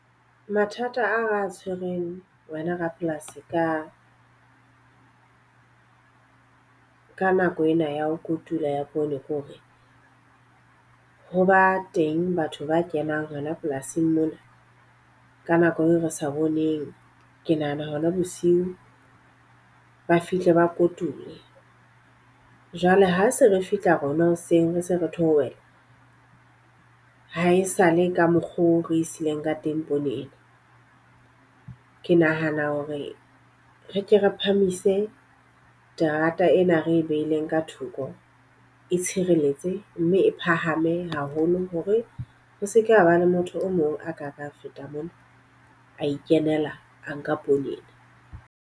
Mathata ao re a tshwereng wena rapolasi ka ka nako ena ya ho kotula poone ke hore ho ba teng batho ba kenang hona polasing mona ka nako eo re sa boneng. Ke nahana hona bosiu, ba fihle ba kotule. Jwale ha se re fihla rona hoseng re se re theohela, ha e sale ka mokgo re sileng ka teng poone ena. Ke nahana hore re ke re phahamise terata ena re e behileng ka ka thoko e tshireletse mme e phahame haholo hore ho seke haba le motho o mong a ka ka feta mona a ikenela a nka poone.